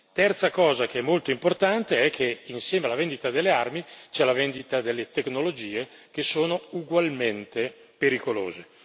Terza cosa, che è molto importante, è che insieme alla vendita delle armi c'è la vendita delle tecnologie, che sono ugualmente pericolose.